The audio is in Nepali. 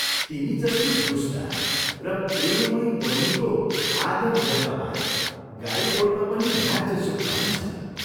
तिमी जस्ती दुष्टा र प्रेममयी बैनीको आदर यत्न पाए, गाई गोठमा पनि राज्य सुख पाइन्छ।